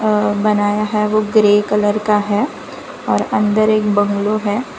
अं बनाया है वो ग्रे कलर का है और अंदर एक बंगलो है।